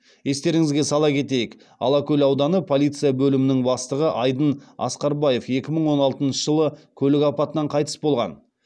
естеріңізге сала кетейік алакөл ауданы полиция бөлімінің бастығы айдын асқарбаев екі мың он алтыншы жылы көлік апатынан қайтыс болған